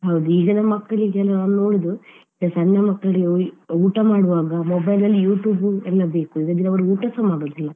ಹೌದು ಈಗಿನ ಮಕ್ಕಳಿಗೆ ಎಲ್ಲ ನೋಡುದು ಈಗ ಸಣ್ಣ ಮಕ್ಕಳಿಗೆ ಊ~ ಊಟ ಮಾಡುವಾಗ mobile ಅಲ್ಲಿ YouTube ಎಲ್ಲ ಬೇಕು ಇಲ್ಲದ್ರೆ ಅವ್ರು ಊಟಸ ಮಾಡುದಿಲ್ಲ.